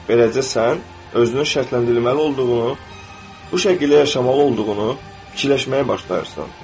Beləcə sən özünü şərtləndirməli olduğunu, bu şəkildə yaşamalı olduğunu fikirləşməyə başlayırsan.